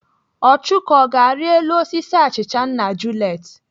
Ọchụko, ọ ga-arị elu osisi achịcha nna Juliet?